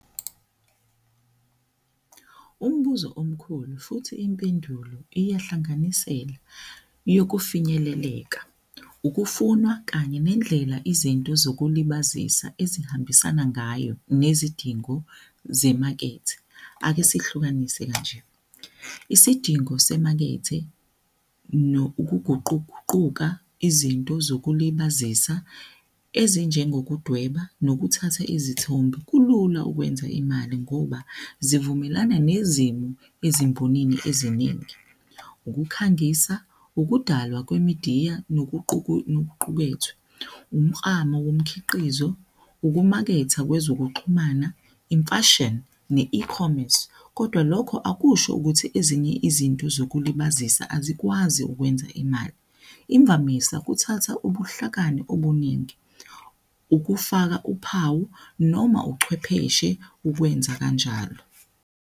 Umbuzo omkhulu futhi impendulo iyahlanganisela yokufinyeleleka, ukufunwa kanye nendlela izinto zokuzilibazisa ezihambisana ngayo nezidingo zemakethe. Ake sihlukanise kanje, isidingo semakethe nokuguquguquka izinto zokuzilibazisa ezinjengokudweba nokuthatha izithombe, kulula ukwenza imali ngoba zivumelane nezimo ezimbonini eziningi. Ukukhangisa ukudalwa kwemidiya nokuqukethwe, umklamo womkhiqizo, ukumaketha kwezokuxhumana imfashini ne-ecomics. Kodwa lokho akusho ukuthi ezinye izinto zokuzilibazisa azikwazi ukwenza imali. Imvamisa kuthatha ubuhlakani obuningi ukufaka uphawu noma uchwepheshe ukwenza kanjalo.